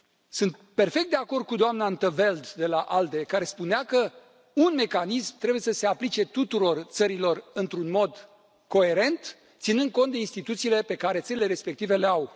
Sunt perfect de acord cu doamna in 't Veld de la ALDE, care spunea că un mecanism trebuie să se aplice tuturor țărilor într un mod coerent, ținând cont de instituțiile pe care țările respective le au.